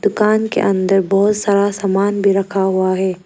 दुकान के अंदर बहुत सारा सामान भी रखा हुआ है।